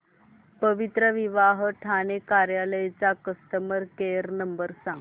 पवित्रविवाह ठाणे कार्यालय चा customer care number सांग